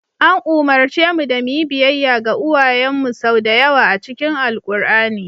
An umarce mu da mu yi biyayya ga uwayenmu sau da yawa a cikin Alkur'ani.